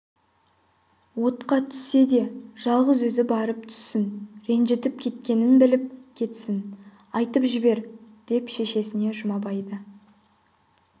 отқа түссе де жалғыз өзі барып түссін ренжітіп кеткенін біліп кетсін айтып жібер деп шешесіне жұмабайды